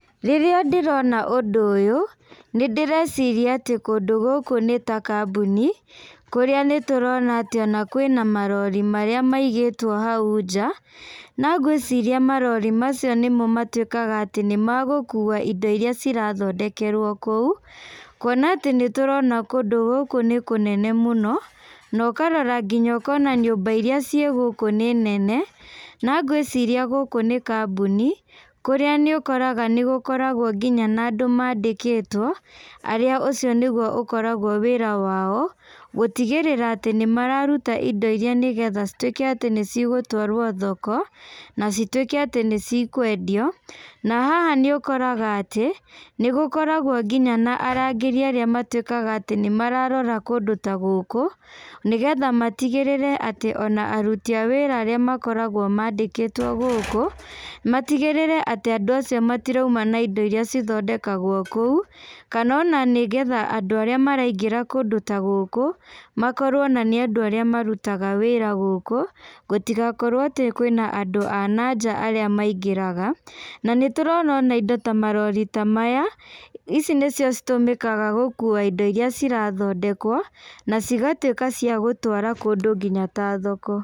Rĩrĩa ndĩrona ũndũ ũyũ , nĩ ndĩreciria atĩ kũndũ gũkũ nĩ ta kambuni, kũrĩa nĩ tũrona atĩ ona kwĩna marori marĩa maigĩtwo hau nja, na ngwĩciria marori macio nĩmo matuĩkaga atĩ nĩ magũkuwa indo iria cirathondekerwo kũu, kuona atĩ nĩ tũrona kũndũ gũkũ nĩ kũnene mũno, na ũkarora nginya ũkona nyũmba iria ciĩ gũkũ nĩ nene, na ngwĩciria gũkũ nĩ kambuni, kũrĩa nĩ ũkoraga nĩ gũkoragwo nginya na andũ mandĩkĩtwo, arĩa ũcio nĩguo ũkoragwo wĩra wao, gũtigĩrĩra atĩ nĩ mararuta indo iria nĩ getha cituĩke atĩ nĩ cigũtwarwo thoko, na cituĩke atĩ nĩ cikwendio, na haha nĩ ũkoraga atĩ, nĩ gũkoragwo nginya na arangĩri arĩa matuĩkaga nĩ mararora kũndũ ta gũkũ, nĩ getha matigĩrĩre atĩ ona aruti awĩra arĩa makoragwo mandĩkĩtwo gũkũ, matigĩrĩre atĩ andũ acio matiraima na ĩndo iria cithondekagwo kũu, kana ona nĩ getha andũ arĩa maraingĩra kũndũ ta gũkũ, makorwo ona nĩ andũ arĩa marutaga wĩra gũkũ, gũtigakorwo atĩ kwĩna andũ ananja arĩa maingĩraga, na nĩ tũrona ona indo ta marori ta maya, ici nĩ cio citũmĩkaga gũkuwa indo iria cirathondekwo, nacigatuĩka cia gũtwara kũndũ nginya ta thoko.